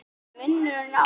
Já, er munur á því?